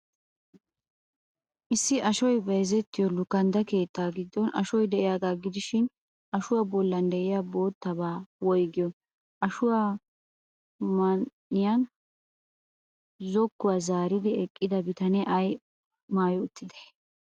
Issi ashoy bayzzettiyoo lukandda keettaa giddon ashoy de'iyaagaa gidishin, ashuwa bollan de'iya boottaabaa woygiyoo? Ashuwa man''iyaan zokkuwaa zaaridi eqqida bitanee ay maayi uttidee?